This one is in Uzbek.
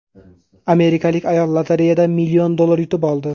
Amerikalik ayol lotereyadan million dollar yutib oldi.